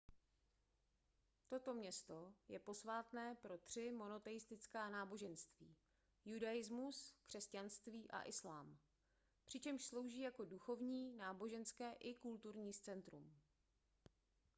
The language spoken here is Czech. toto město je posvátné pro tři monoteistická náboženství judaismus křesťanství a islám přičemž slouží jako duchovní náboženské i kulturní centrum